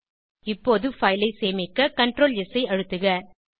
இப்போது பைல் ஐ சேமிக்க ctrls ஐ அழுத்துக